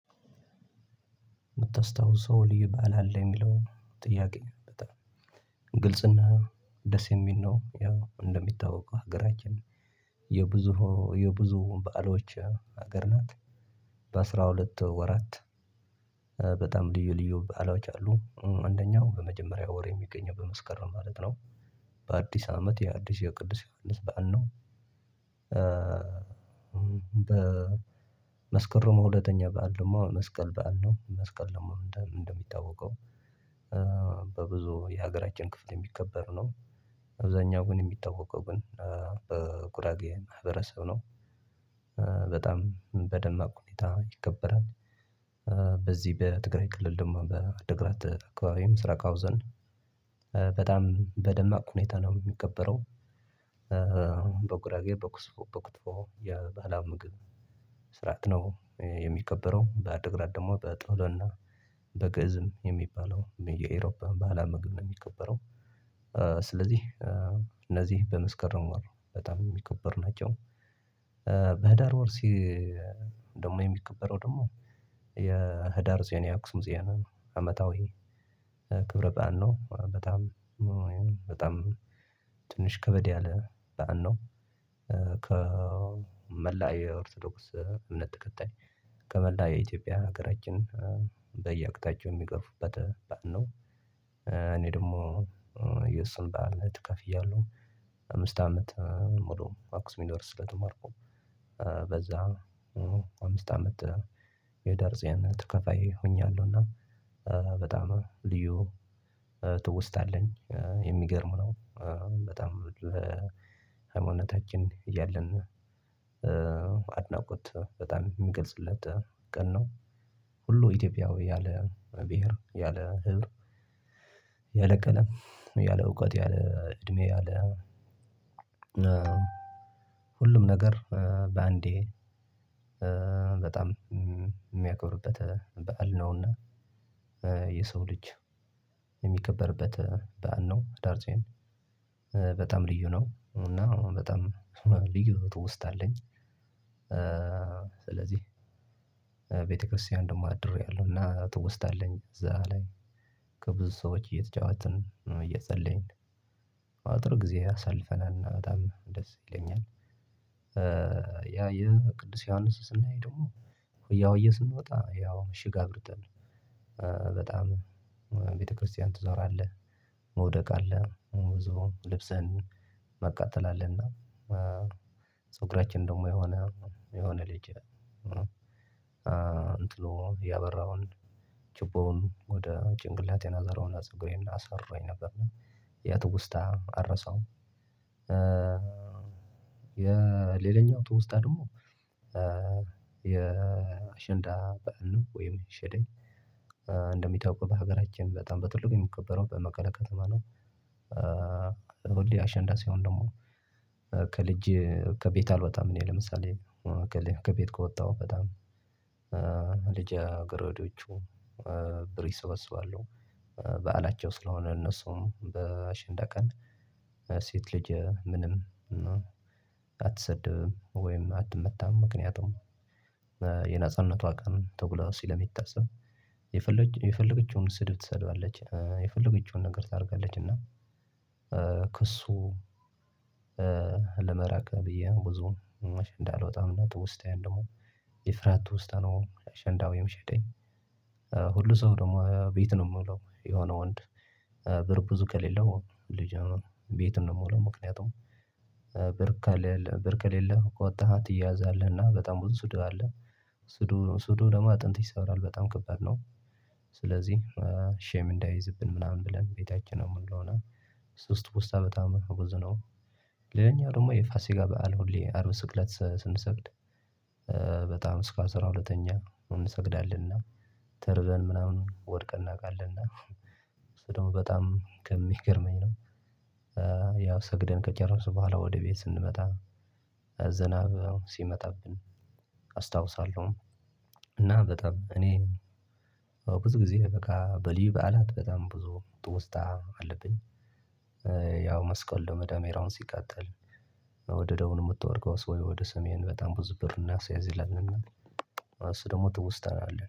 የምታስታውሰው ልዩ በዓል አለ የሚለው ጥያቄ በጣም ግልጽና ደስየሚል ነው። እንደሚታወቀው ሀገራችን የብዙ የብዙ በዓሎች ሀገር ናት። የአስራ ሁለት ወራት በጣም ልዩ ልዩ በዓሎች አሉ አንደኛው በመጀመሪያ ወር የሚገኘው በመስከር ነው ማለት ነው። በአዲስ አመት የአዲስ የቅዱስ ዮሐንስ በዓል ነው። በመስከረም ሁለተኛ በዓል ደግሞ መስቀል በዓል ነው መስቀል ደግሞ እንደሚታወቀው። በብዙ የሀገራችን ክፍል የሚከበር ነው። አብዝሃኛው ግን የሚታወቀው ግን በቁራጌ ማህበረሰብ ነው። በጣም በደማቅ ሁኔታ ይከበራል። በዚህ በትግራይ ክልል ደግሞ በትግራይ አካባቢ ምስራቅ አውዘን በጣም በደማቅ ሁኔታ ነው የሚከበረው። በጉራጌ በኩስፎ በኩቶ የባላው ምግብ ስርዓት ነው። የሚከበረው በአድግራት ደግሞ በጠሎና በጥሎና በግእዝም የሚባለው የኢሮፓ ባህላዊ ምግብ ነው የሚከበረው። ስለዚህ እነዚህ በመስከረም በጣም የሚከበር ናቸው። በህዳር ወር ደግሞ የሚከበረው ደግሞ የህዳር ፂዮን የአክሱም ፂዮን አመታዊ ክብረ በዓል ነው በጣም በጣም ትንሽ ከበድ ያለ በዓል ነው። ከመላያ ኦርቶዶክስ እምነት ተከታይ ከመላያ የኢትዮጵያ ሀገራችን በየአቅጣጫቸው የሚገርፉበት በዓል እኔ ደግሞ የእሱን ባል ተካፍያለሁ። አምስት አመት ሙሉ አክሱም ዩኒቨርሲቲ ስለተማርኩ በዛ አምስት አመት የህዳር ጽዮን ተካፈይ ሆኛለሁ እና በጣም ልዩ ትውስታ አለኝ የሚገርም ነው። በጣም በሃይማኖታችን እያለን አድናቆት በጣም የሚገልጽለት ቀን ነው። ሁሉ ኢትዮጵያዊ ያለ ብሄር ያለ ህብር ያለ ቀለም ያለ እውቀት ያለ እድሜ ያለ ሁሉም ነገር በአንዴ በጣም የሚያከብርበት በዓል ነውና። የሰው ልጅ የሚከበርበት በዓል ነው ህዳር ፂዮን። በጣም ልዩ ነው እና በጣም ነው ትውስታ አለኝ። ስለዚህ ቤተክርስቲያን ደግሞ አድሬያለሁ እና ትውስታ አለኝ እዛ ላይ ከብዙ ሰዎች እየተጫወትን ነው እየጸለየኝ አጥብ ጊዜ አሳልፈናል በጣም እንደዚህ ይለኛል። ያ የቅዱስ ዮሐንስ ስናይ ደግሞ ያው እየሰማ ወጣ ያው እሺ ጋር ብርጠን በጣም ቤተክርስቲያን ትዘራለህ መውደቅ አለህ መውዘውን ልብስህን መቃጠል አለህና። ፀጉራችንን ደግሞ የሆነ የሆነ ልጅ እንጥሎ ያበራውን ጭቦውን ወደ ጭንቅላቴን አዘረውና ፀጉሬን አሰራኝ ነበር ያትውስታ አረሳውም። የሌላኛው ትውስታ ደግሞ የ አሸንዳ በዓል ነው ወይም ሻደይ። እንደሚታወቀው በሀገራችን በጣም በትልቁ የሚከበረው በመቀሌ ከተማ ነው። ሁሌ አሸንዳ ሲይሆን ደግሞ ከልጅ ከቤት አልወጣም። እኔ ለምሳሌ ከልጅ ከቤት ከወጣሁ በጣም ልጅ አገረዶቹ ብር ይሰበስባለሁ። በዓላቸው ስለሆነ እነሱም በአሸንዳ ቀን ሴት ልጅ ምንም አትሰደብም ወይም አትመታም ምክንያቱም የነጻነቷ ቀን ተብሎ ስለሚታሰብ። የፈለገችውን ስድብ ትሳደባለች የፈለገችውን ነገር ታደርጋለች እና ከእሱ ለመራቅ ብዬ ብዙም አሸንዳ አልወጣም። እና ትውስታዬም ደግሞ የፍራት ትውስታ ነው አሸንዳ ወይም ሻደይ። ሁሉም ሰው ደግሞ ቤት ነው የሚውለው የሆነ ወንድ ብር ብዙ ከሌለው ልጅ ነው ቤት ነው የሚውለው። ምክንያቱም ብር ከሌለ ብር ከሌለ ከወጣህ አትያዛለህና በጣም ብዙ ስድብ አለ። ስድቡ ደግሞ አጥንት ይሰብራል በጣም ከባድ ነው። ስለዚህ ሼም እንዳይዝብን ምናምን ብለን ቤታችን ነው የምንለው። እሱ ትውስታ በጣም ብዙ ነው። ሌላኛው ደግሞ የፋሲካ በዓል ሁሌ አርብ ስቅለት ስንሰግድ በጣም እስከ አስራ ሁለተኛ እንሰግዳለን። እና ምናምን ወድቀን እናውቃለን እና እሱ ደግሞ በጣም ከሚገርመኝ ነው። ሰግደን ከጨረስን በኋላ ወደ ቤት ስንመጣ ዝናብ ሲመጣብን አስታውሳለሁ። እና በጣም እኔ ብዙ ጊዜ በቃ በልዩ በዓላት በጣም ብዙ ትውስታ አለብኝ። ያው መስቀል ዳመራውም ሲቃጠል። ወደ ደቡብ ነው የምትወድቀው? ወይስ ወደ ሰሜን በጣም ብዙ ብር እናስይዝ ይላልና እሱ ደግሞ ትውስታና